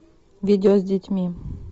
видео с детьми